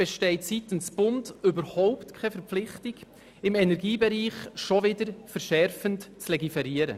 Seitens des Bundes besteht überhaupt keine Verpflichtung, im Energiebereich schon wieder verschärfend zu legiferieren.